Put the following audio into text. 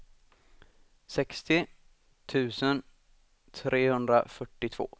sextio tusen trehundrafyrtiotvå